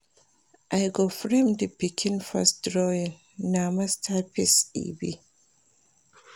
I go frame di pikin first drawing, na masterpiece e be.